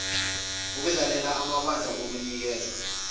okudlalela amabandla okunikeza